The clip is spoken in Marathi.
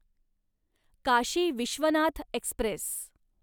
काशी विश्वनाथ एक्स्प्रेस